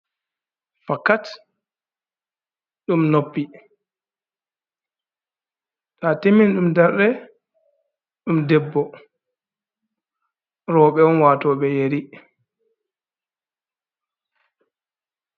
Fakkat ɗum noppi, to atimini ɗum darde ɗum debbo, roɓɓe on wato ɓe yeri.